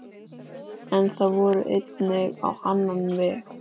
En það fór einnig á annan veg.